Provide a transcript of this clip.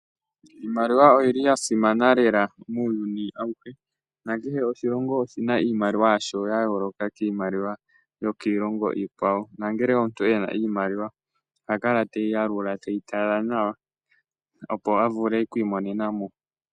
Iimaliwa oya simana lela muuyuni awuhe, nakehe oshilongo oshi na iimaliwa yasho ya yooloka kiimaliwa yokiilongo iikwawo, nongele omuntu e na iimaliwa oha kala teyi yalula teyi tala nawa opo a vule okwiimonena mo.